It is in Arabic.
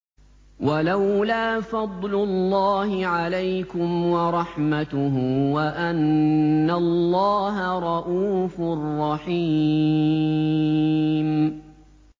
وَلَوْلَا فَضْلُ اللَّهِ عَلَيْكُمْ وَرَحْمَتُهُ وَأَنَّ اللَّهَ رَءُوفٌ رَّحِيمٌ